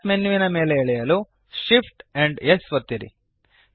snap menu ಮೇಲೆ ಎಳೆಯಲು Shift amp S ಒತ್ತಿರಿ